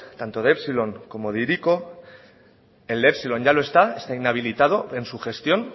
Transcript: tanto de epsilon como de hiriko el de epsilon ya no está está inhabilitado en su gestión